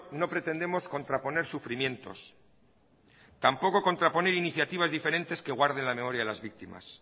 no pretendemos contraponer sufrimientos tampoco contraponer iniciativas diferentes que guarden la memoria de las víctimas